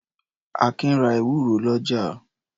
Akin ra ewúro lọ́jà.